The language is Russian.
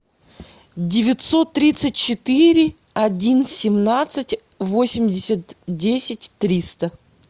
девятьсот тридцать четыре один семнадцать восемьдесят десять триста